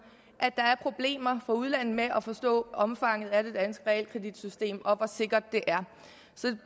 at der er problemer fra udlandet med at forstå omfanget af det danske realkreditsystem og hvor sikkert det er